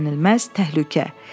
Gözlənilməz təhlükə.